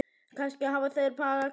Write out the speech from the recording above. Kannski hafa þeir bara gleymt því.